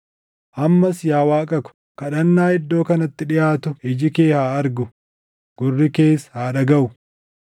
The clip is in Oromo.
“Ammas yaa Waaqa koo kadhannaa iddoo kanatti dhiʼaatu iji kee haa argu; gurri kees haa dhagaʼu.